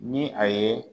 Ni a ye